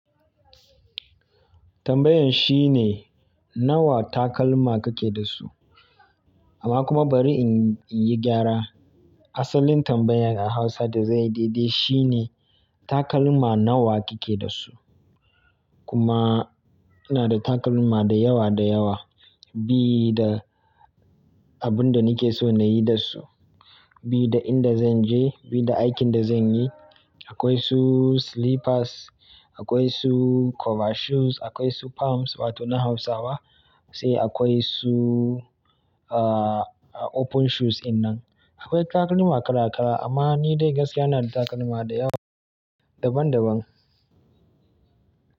Tambayan shine nawa takalma kake da su? Amma kuma bari in, in yi gyara. Asalin tambayan a Hausa da zai daidai shine takalma nawa kike da su? Kuma ina da takalma da yawa da yawa, bi da abin da nake so na yi da su, bi da inda zan je, bi da aikin da zan yi. Akwai su slippers, akwai su cover shoes, akwai su pumps wato na Hausawa, sai akwai su, ah, open shoes in nan. Akwai takalma kala kala amma ni dai gaskiya ina da takalma da yawa daban daban.